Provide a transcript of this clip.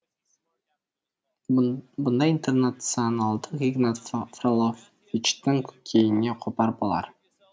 бұндай интернационалдық игнат фроловичтің көкейіне қопар болар